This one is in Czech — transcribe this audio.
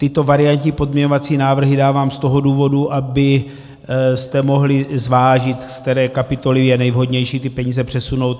Tyto variantní pozměňovací návrhy dávám z toho důvodu, abyste mohli zvážit, z které kapitoly je nejvhodnější ty peníze přesunout.